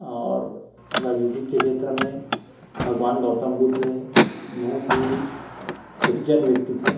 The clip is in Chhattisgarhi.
और राजनीति के छेत्र में भगवान गौतम बुध ह बहुत ही सज्जन व्वक्ति थे।